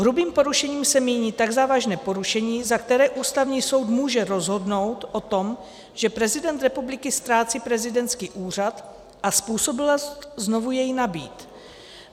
Hrubým porušením se míní tak závažné porušení, za které Ústavní soud může rozhodnout o tom, že prezident republiky ztrácí prezidentský úřad a způsobilost znovu jej nabýt.